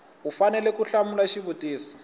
u fanele ku hlamula xivutiso